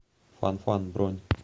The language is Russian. фанфан бронь